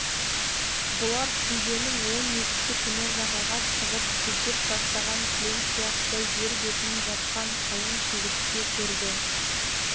бұлар шілденің он екісі күні жағаға шығып төсеп тастаған кілем сияқты жер бетін жапқан қалың шегіртке көрді